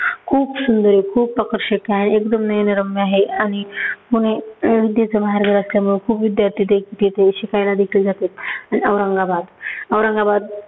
खूप सुंदर आहे, खूप आकर्षक आहे एकदम नैनरम्य आहे आणि पुणे विद्येचं माहेरघर असल्यामुळे खूप विद्यार्थी ते तिथे शिकायला देखील जातात. औरंगाबाद - औरंगाबाद